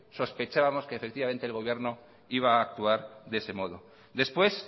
sospechábamos que el gobierno iba a actuar de ese modo después